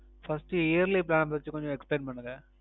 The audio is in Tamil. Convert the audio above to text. First Yearly Plan வச்சு கொஞ்சம் Explain பண்ணுங்க